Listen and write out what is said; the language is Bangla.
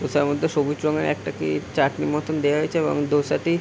ধোসার মধ্যে সবুজ রঙের একটা কি চাটনি মতো দেয়া হয়েছে এবং ধোসাটি --